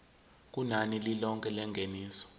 kunani lilonke lengeniso